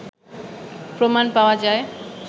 প্রমাণ পাওয়া যায়